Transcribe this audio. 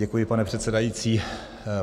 Děkuji, pane předsedající.